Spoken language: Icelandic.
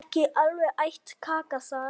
Ekki alveg æt kaka þar.